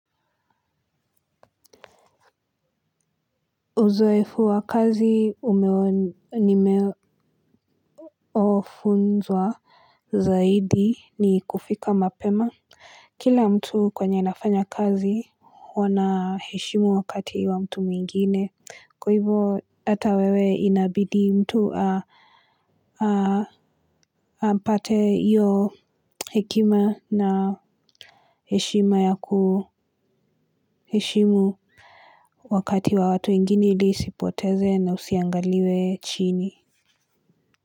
Uzoefu wa kazi nimefunzwa zaidi ni kufika mapema. Kila mtu kwenye nafanya kazi huwa anaheshimu wakati wa mtu mwingine kwa hivyo. Hata wewe inabidi mtu a a apate hiyo hekima na heshima ya kuheshimu wakati wa watu ingine ili usipoteze na usiangaliwe chini.